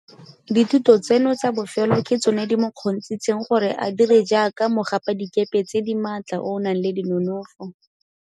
Dithuto tseno tsa bofelo ke tsone di mo kgontshitseng gore a dire jaaka mogapadikepe tse di maatla o o nang le dinonofo.